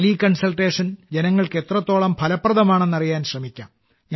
tele consultation ജനങ്ങൾക്ക് എത്രത്തോളം ഫലപ്രദമാണെന്ന് അറിയാൻ ശ്രമിക്കാം